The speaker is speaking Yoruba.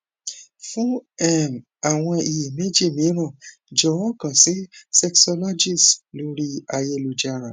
fún um àwọn iyèméjì mìíràn jọwọ kan si sexologist lori ayelujara